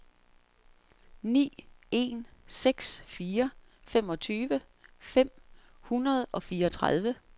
ni en seks fire femogtyve fem hundrede og fireogtredive